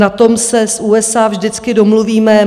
Na tom se s USA vždycky domluvíme.